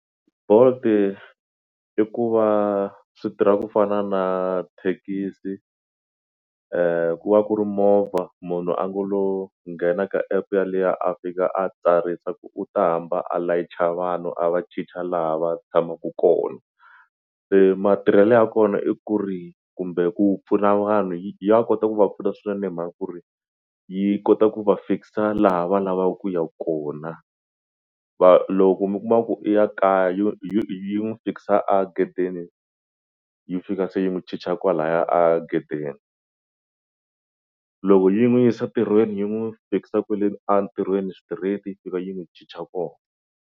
Bolt i ku va swi tirha ku fana na thekisi ku va ku ri movha munhu a ngo lo nghena ka app ya liya a fika a tsarisa ku u ta hamba a layicha vanhu a va chicha laha va tshamaku koho se matirhelo ya kona i ku ri kumbe ku pfuna vanhu yi ya kota ku va pfuna swinene hi mhaka ku ri yi kota ku va fikisa laha va lavaku ku ya kona va loko mi kuma ku i ya kaya yi n'wi fikisa a gedeni yi fika se yi n'wi chicha kwalaya a gedeni loko yi n'wi yisa ntirhweni yi n'wu fikisa kwele a ntirhweni straight yi fika yi n'wi chicha ko.